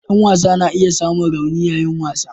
Dan wasa na iya samun rauni yayin wasa.